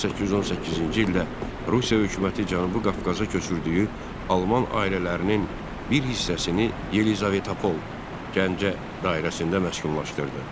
1818-ci ildə Rusiya hökuməti Cənubi Qafqaza köçürdüyü alman ailələrinin bir hissəsini Yelizavetapol, Gəncə dairəsində məskunlaşdırdı.